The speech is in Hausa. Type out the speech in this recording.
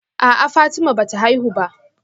A'a Fatima bata haihu ba